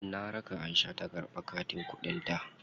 Na raka Aisha ta karɓi katin kuɗin ta.